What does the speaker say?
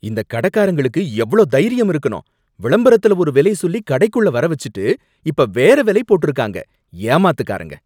இந்தக் கடைக்காரங்களுக்கு எவ்ளோ தைரியம் இருக்கணும், விளம்பரத்துல ஒரு வில சொல்லி கடைக்குள்ள வர வச்சுட்டு இப்ப வேற விலை போட்டிருக்காங்க. ஏமாத்துக்காரங்க